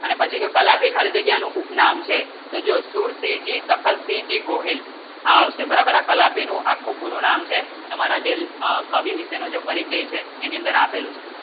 અને પછી ખાલી જગ્યા ને ઉપ નામ છે તો જો સુરતી જી તખતસિંહજી ગોહિલ આ આવશે બરાબર ના તાલથી નું આખું પૂરું નામ છે પરિચય છે એની અંદર આપેલું છે